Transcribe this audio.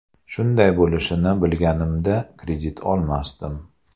Shunday bo‘lishini bilganimda, kredit olmasdim.